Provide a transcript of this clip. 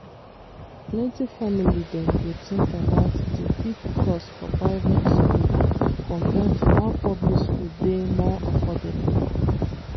plenty family dem go think about di big cost for private school compared to how public school dey more affordable.